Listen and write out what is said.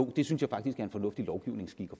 det synes jeg faktisk er en fornuftig lovgivningsskik